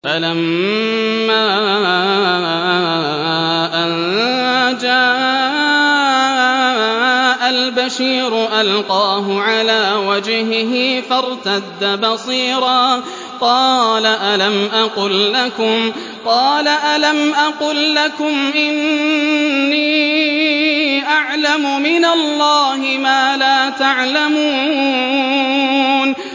فَلَمَّا أَن جَاءَ الْبَشِيرُ أَلْقَاهُ عَلَىٰ وَجْهِهِ فَارْتَدَّ بَصِيرًا ۖ قَالَ أَلَمْ أَقُل لَّكُمْ إِنِّي أَعْلَمُ مِنَ اللَّهِ مَا لَا تَعْلَمُونَ